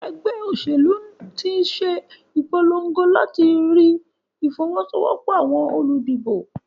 Egbé òsèlú tín se ìpologo làti lerí ìfowósowópò àwon olùdìbò